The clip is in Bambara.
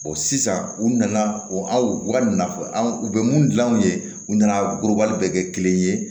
sisan u nana o aw ka nakɔ u bɛ mun dilan u ye u nana bɛɛ kɛ kelen ye